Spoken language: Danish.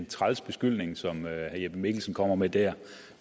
træls beskyldning som herre jeppe mikkelsen kommer med der